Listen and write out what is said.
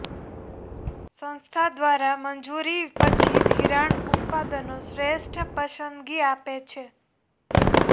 સંસ્થા દ્વારા મંજૂરી પછી ધિરાણ ઉત્પાદનો શ્રેષ્ઠ પસંદગી આપે છે